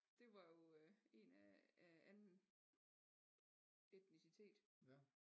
Det var jo øh en af anden etnicitet